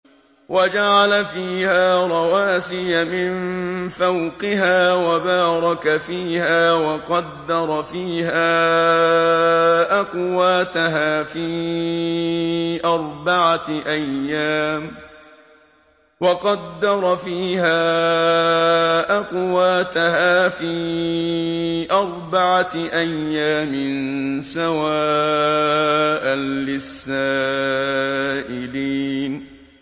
وَجَعَلَ فِيهَا رَوَاسِيَ مِن فَوْقِهَا وَبَارَكَ فِيهَا وَقَدَّرَ فِيهَا أَقْوَاتَهَا فِي أَرْبَعَةِ أَيَّامٍ سَوَاءً لِّلسَّائِلِينَ